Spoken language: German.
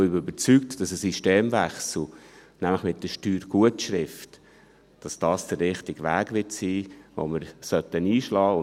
Ich bin überzeugt, dass ein Systemwechsel, nämlich mit der Steuergutschrift, der richtige Weg sein wird, den wir einschlagen sollten.